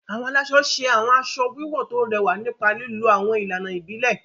Awọn alaṣọ ṣe awọn aṣọ wiwọ to rẹwa nipa lilo awọn ilana ibile.